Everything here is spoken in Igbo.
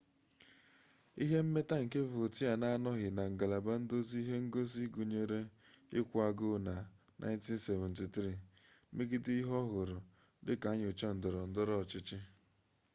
ihe mmeta nke vautier na-anọghị na ngalaba nduzi ihe ngosi gụnyere ịkwụ agụụ na 1973 megide ihe ọ hụrụ dị ka nnyocha ndọrọndọrọ ọchịchị